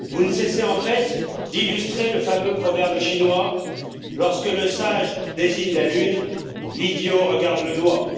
Vous ne cessez en fait d'illustrer le fameux proverbe chinois lorsque le sage désigne la lune, l'idiot regarde le doigt.